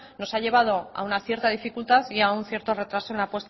nos ha llevado a una cierta dificultad y a un cierto retraso en la